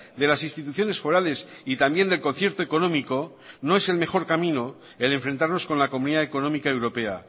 de las instituciones forales y también del concierto económico no es el mejor camino el enfrentarnos con la comunidad económica europea